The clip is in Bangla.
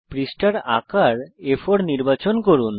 পৃষ্ঠার আকার আ4 নির্বাচন করুন